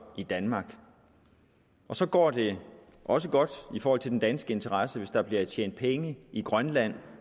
i danmark og så går det også godt i forhold til den danske interesse hvis der bliver tjent penge i grønland